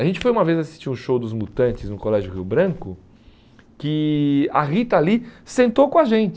A gente foi uma vez assistir um show dos Mutantes no Colégio Rio Branco, que a Rita Lee sentou com a gente.